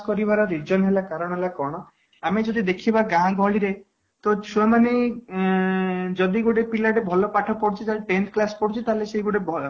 କରିବାର reason ହେଲା କାରଣ ହେଲା କ'ଣ ଆମେ ଯଦି ଦେଖିବା ଗାଁ ଗହଳି ରେ ତ ଛୁଆ ମାନେ ଉଁ ଯଦି ଗୋଟେ ପିଲା ଟେ ଭଲ ପାଠ ପଢୁଛି ଯଦି tenth class ପଢୁଛି ତାହେଲେ ସେ ଗୋଟେ ଭଲ